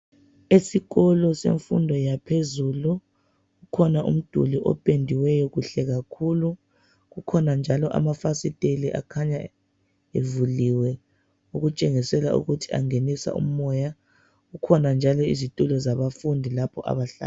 Esikolo semfundo yaphezulu ukhona umduli opendiweyo kuhle kakhulu. Kukhona njalo amafasiteli akhanya evuliwe okutshengisela ukuthi angenisa umoya. Kukhona njalo izitulo zabafundi lapho abahlala.